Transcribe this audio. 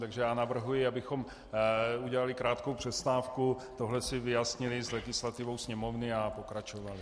Takže já navrhuji, abychom udělali krátkou přestávku, tohle si vyjasnili s legislativou Sněmovny a pokračovali.